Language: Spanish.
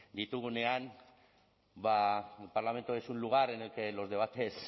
ditugunean ba el parlamento es un lugar en el que los debates